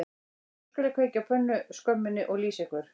Nú skal ég kveikja á pönnuskömminni og lýsa ykkur